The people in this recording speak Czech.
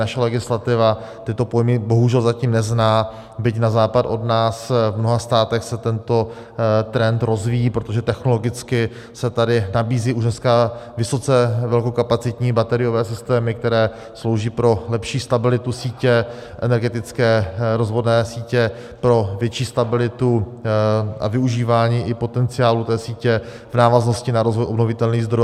Naše legislativa tyto pojmy bohužel zatím nezná, byť na západ od nás v mnoha státech se tento trend rozvíjí, protože technologicky se tady nabízí už dneska vysoce velkokapacitní bateriové systémy, které slouží pro lepší stabilitu sítě, energetické rozvodné sítě, pro větší stabilitu a využívání i potenciálu té sítě v návaznosti na rozvoj obnovitelných zdrojů.